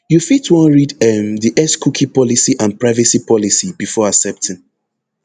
you fit wan read um di xcookie policy and privacy policy before accepting